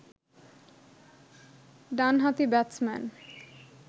ডানহাতি ব্যাটসম্যান